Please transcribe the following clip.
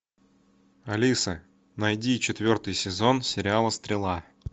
алиса найди четвертый сезон сериала стрела